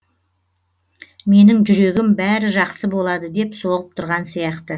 менің жүрегім бәрі жақсы болады деп соғып тұрған сияқты